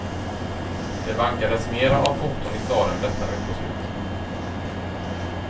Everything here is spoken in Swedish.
Det vankades mera av foton i staden detta veckoslut.